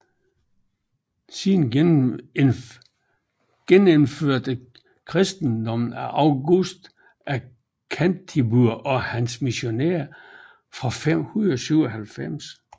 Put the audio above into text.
Siden genindførtes kristendommen af Augustin af Canterbury og hans missionærer fra 597